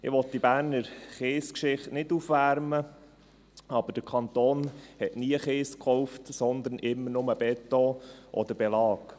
Ich will die Berner Kiesgeschichte nicht aufwärmen, aber der Kanton hat nie Kies gekauft, sondern immer nur Beton oder Belag.